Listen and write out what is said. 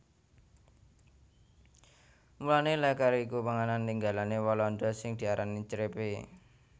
Mulané lèker iku panganan tinggalané Walanda sing diarani crêpe